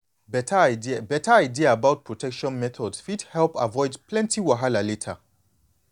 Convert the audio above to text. beta idea beta idea about protection methods fit help avoid plenty wahala later